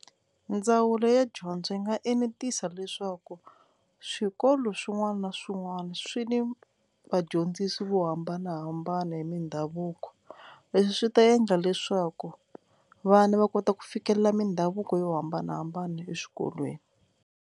Ndzawulo ya dyondzo yi nga enetisa leswaku swikolo swin'wana na swin'wana swi ni vadyondzisi vo hambanahambana hi mindhavuko, leswi swi ta endla leswaku vana va kota ku fikelela mindhavuko yo hambanahambana exikolweni.